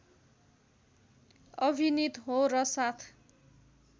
अभिनीत हो र साथ